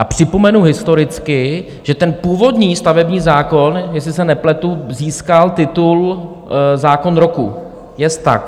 A připomenu historicky, že ten původní stavební zákon, jestli se nepletu, získal titul zákon roku, jest tak?